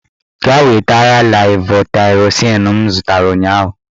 Gaa wetara levotaịrozin m zụtara ụnyaahụ!